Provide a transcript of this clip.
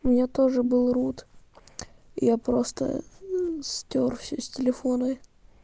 у меня тоже был руд я просто стёр всё с телефона